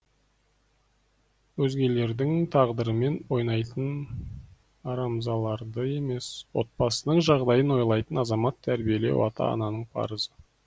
өзгелердің тағдырымен ойнайтын арамзаларды емес отбасының жағдайын ойлайтын азамат тәрбиелеу ата ананың парызы